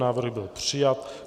Návrh byl přijat.